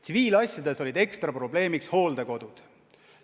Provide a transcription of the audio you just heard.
Tsiviilasjades olid ekstra probleemiks hooldekodud.